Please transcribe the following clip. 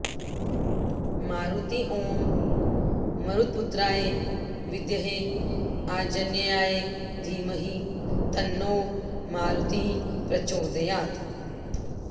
मारुती ॐ मरुत्पुत्राय विद्महे आंजनेयाय धीमहि तन्नो मारुतिः प्रचोदयात्